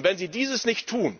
Wenn Sie dieses nicht tun,